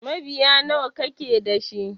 Mabiya nawa kake dashi?